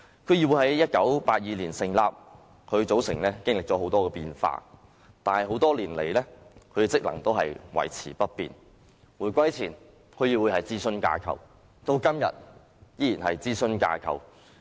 區議會在1982年成立，其組成經歷了許多變化，但多年來，區議會的職能維持不變，回歸前區議會是諮詢架構，至今天依然是諮詢架構。